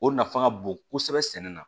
O nafa ka bon kosɛbɛ sɛnɛ na